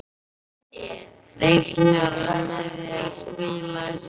Reiknar hann með að spila í sumar?